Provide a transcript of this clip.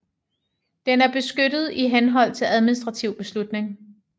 Den er beskyttet i henhold til administrativ beslutning